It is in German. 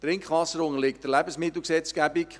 Trinkwasser unterliegt der Lebensmittelgesetzgebung.